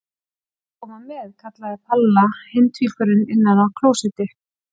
Má ég koma með? kallaði Palla hinn tvíburinn innan af klósetti.